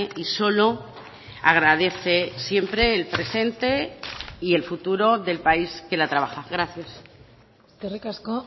y solo agradece siempre el presente y el futuro del país que la trabaja gracias eskerrik asko